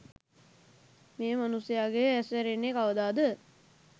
මේ මනුස්සයාගේ ඇස් ඇරෙන්නෙ කවදාද?